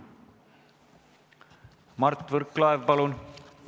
Mart Võrklaev, palun!